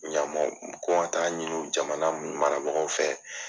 Ɲamo ko n ka taa ɲini jamana marabagaw fɛ.